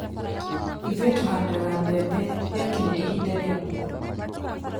ĩthũĩ tũhandaga mbembe rĩakinya ihinda ria mbura